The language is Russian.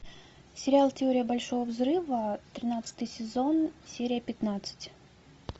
сериал теория большого взрыва тринадцатый сезон серия пятнадцать